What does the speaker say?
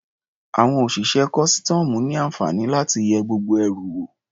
Àwọn òṣìṣẹ́ kọ́sítọ́ọ̀mù ní àǹfààní láti yẹ gbogbo ẹrù wò.